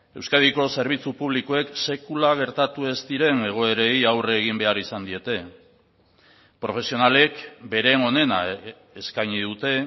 euskadiko zerbitzu publikoek sekula gertatu ez diren egoerei aurre egin behar izan diete profesionalek beren onena eskaini dute